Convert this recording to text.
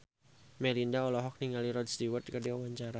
Melinda olohok ningali Rod Stewart keur diwawancara